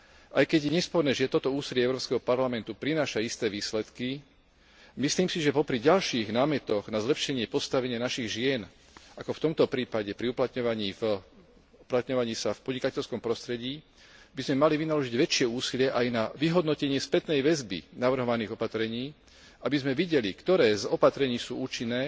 Aj keď je nesporné, že toto úsilie Európskeho parlamentu prináša isté výsledky, myslím si, že popri ďalších námetoch na zlepšenie postavenia našich žien, ako v tomto prípade pri uplatňovaní sa v podnikateľskom prostredí, by sme mali vynaložiť väčšie úsilie aj na vyhodnotenie spätnej väzby navrhovaných opatrení, aby sme videli, ktoré z opatrení sú účinné